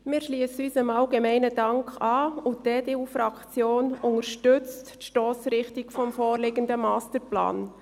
Wir schliessen uns dem allgemeinen Dank an, und die EDU-Fraktion unterstützt die Stossrichtung des vorliegenden Masterplans.